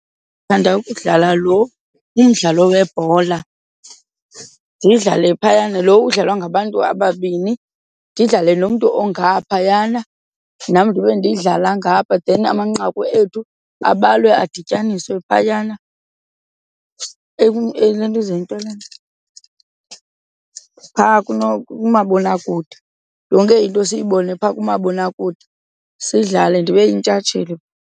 Ndithanda ukudlala lo umdlalo webhola, ndidlale phayana lo udlalwa ngabantu ababini, ndidlale nomntu ongaphaya xana nam ndibe ndiyidlala ngapha. Then amanqaku ethu abalwe adityaniswe phayana elentuzeni. Yintoni le nto? Phaa kumabonakude, yonke into siyibone phaa kumabonakude. Sidlale ndibe yintshatsheli.